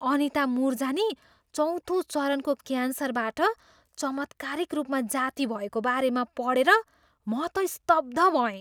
अनिता मुरजानी चौँथो चरणको क्यान्सरबाट चमत्कारिक रूपमा जाती भएको बारेमा पढेर म त स्तब्ध भएँ।